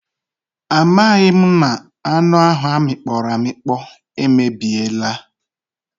A maghị m na anụ ahụ amịkpọrọ amịkpọ emebiela.